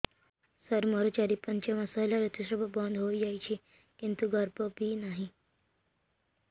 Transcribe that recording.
ସାର ମୋର ଚାରି ପାଞ୍ଚ ମାସ ହେଲା ଋତୁସ୍ରାବ ବନ୍ଦ ହେଇଯାଇଛି କିନ୍ତୁ ଗର୍ଭ ବି ନାହିଁ